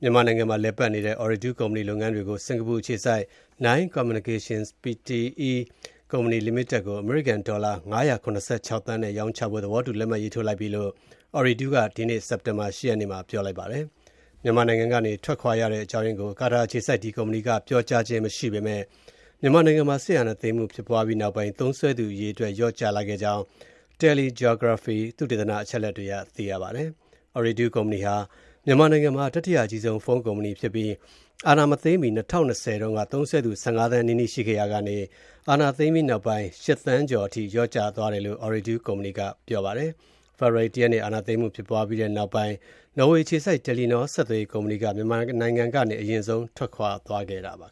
မြန်မာနိုင်ငံမှာလည်ပတ်နေတဲ့ အော်ရီဒူး ဆက်သွယ်ရေးကုမ္ပဏီရဲ့ လုပ်ငန်းတွေကို စင်္ကာပူအခြေစိုက် Nine Communications Pte. Ltd ကို အမေရိကန် ဒေါ်လာ ၅၇၆ သန်းနဲ့ ရောင်းချဖို့ သဘောတူလက်မှတ်ရေးထိုးလိုက်ပြီလို့ ကာတာအခြေစိုက် အော်ရီဒူးကုမ္ပဏီက ဒီကနေ့ စက်တင်ဘာ ၈ ရက်နေ့မှာ ပြောပါတယ်။ မြန်မာနိုင်ငံကနေ ထွက်ခွာရတဲ့အကြောင်းရင်းကို ကုမ္ပဏီကပြောကြားခြင်းမရှိပေမယ့် အာဏာသိမ်းမှု ဖြစ်ပွားပြီးနောက်ပိုင်း သုံးစွဲသူအရေအတွက် လျော့ကျခဲ့ကြောင်း TeleGeography သုတေသန အချက်အလက်တွေအရ သိရပါတယ်။ အော်ရီဒူးကုမ္ပဏီဟာ မြန်မာနိုင်ငံမှာ တတိယအကြီးဆုံး ဖုန်းကုမ္ပဏီဖြစ်ပြီး အာဏာမသိမ်းမီ ၂၀၂၀ တုန်းက သုံးစွဲသူ ၁၅ သန်းနီးနီးရှိခဲ့ရာက အာဏာသိမ်းပြီးနောက်ပိုင်း ၈ သန်းကျော် (၈.၃) အထိ လျော့ကျသွားတယ်လို့ အော်ရီဒူးကုမ္ပဏီက ပြောပါတယ်။ ဖေဖော်ဝါရီလ ၁ ရက်နေ့မှာ အာဏာသိမ်းမှု ဖြစ်ပွားပြီးနောက်ပိုင်း နော်ဝေးအခြေစိုက် တယ်လီနော ဆက်သွယ်ရေးကုမ္ပဏီက မြန်မာနိုင်ငံကနေ အရင်ဆုံး ထွက်ခွာသွားခဲ့တာပါ။